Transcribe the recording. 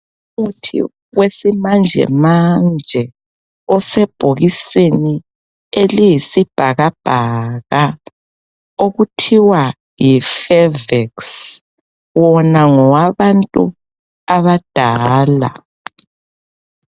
Umuthi wesimanjemanje osebhokisini eliyisibhakabhaka okuthiwa yiFeveksi, wona ngowabantu abadala.